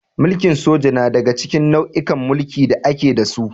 Mulkin soja na daga cikin nau'ikan mulki da ake da su.